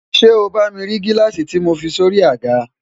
ṣé o bá mi rí gíláàsì tí mo fi sórí i àga?